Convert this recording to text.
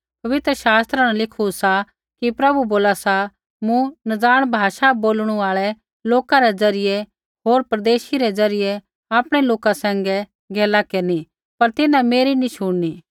पवित्र शास्त्रा न लिखु सा कि प्रभु बोला सा मूँ नज़ाण भाषा बोलणु आल़ै लोका रै ज़रियै होर परदेशी रै ज़रियै आपणै लोका सैंघै गैला केरनी पर तिन्हां मेरी नी शुणनी